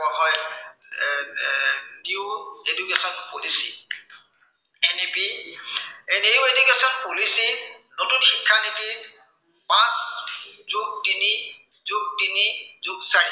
এৰ new education policy এনেকেই এই new education policy নতুন শিক্ষা নীতিত, পাঁচ যোগ তিনি, যোগ তিনি, যোগ চাৰি